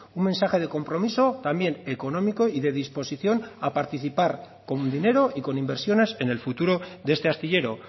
un mensaje de compromiso también económico y de disposición a participar con dinero y con inversiones en el futuro de este astillero